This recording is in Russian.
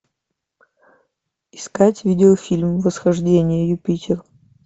искать видеофильм восхождение юпитер